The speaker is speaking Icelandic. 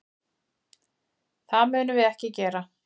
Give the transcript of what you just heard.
Það munum við ekki gera.